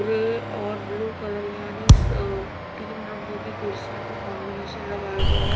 Grey और blue colour यानि स तीन रंगों की कुर्सियों को कॉम्बिनेशन लगाया गया है।